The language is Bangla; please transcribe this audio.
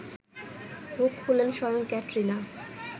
মুখ খুললেন স্বয়ং ক্যাটরিনা